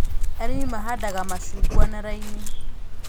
Arĩmi mahandanda macungwa na raini